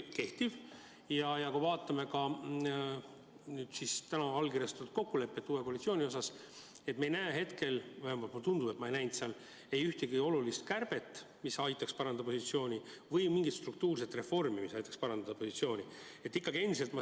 Kui me vaatame täna allkirjastatud uue koalitsiooni kokkulepet, siis me ei näe selles – vähemalt ma justkui ei näinud selles – ühtegi olulist kärbet, mis aitaks parandada eelarvepositsiooni, mitte mingit struktuurset reformi, mis aitaks seda positsiooni parandada.